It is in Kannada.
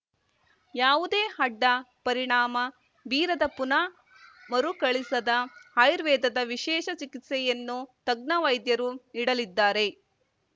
ಯಾವುದೇ ಅಡ್ಡ ಪರಿಣಾಮ ಬೀರದ ಪುನಃ ಮರುಕಳಿಸದ ಆಯುರ್ವೇದದ ವಿಶೇಷ ಚಿಕಿತ್ಸೆಯನ್ನು ತಜ್ಞ ವೈದ್ಯರು ನೀಡಲಿದ್ದಾರೆ